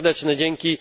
Serdeczne dzięki!